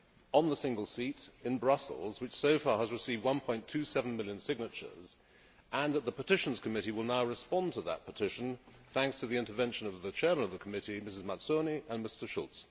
on the single seat in Brussels which so far has received 1.2 million signatures, and that the Petitions Committee will now respond to that petition thanks to the intervention of the Chair of the Committee, Ms Mazzoni, and Mr Schulz?